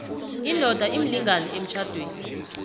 indoda imlingani emtjhadweni